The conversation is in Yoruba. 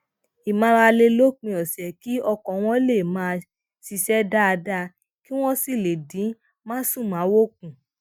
ìmárale lópin òsè kí ọkàn wọn lè máa ṣiṣé dáadáa kí wón sì lè dín másùnmáwo kù